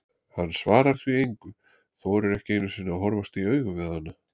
Hann svarar því engu, þorir ekki einu sinni að horfast í augu við hana.